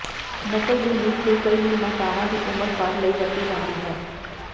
ਨਕਲ ਦੀ ਲੀਕ ਤੇ ਕਈ ਨਿਰਮਾਤਾਵਾਂ ਦੀ ਉਮਰ ਭਰ ਲਈ ਵਰਤੀ ਜਾਂਦੀ ਹੈ